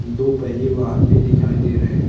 दो पहिये वाहन भी दिखाई दे रहे है।